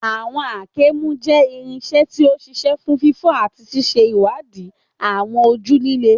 Àwọn àáké mú jẹ́ irinṣẹ́ tí ó ṣiṣẹ́ fún fífọ́ àti ṣíṣe ìwádìí àwọn ojú líle.